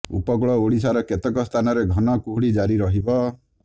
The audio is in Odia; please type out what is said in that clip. ଉପକୂଳ ଓଡ଼ିଶାର କେତେକ ସ୍ଥାନରେ ଘନ କୁହୁଡ଼ି ଜାରି ରହିବ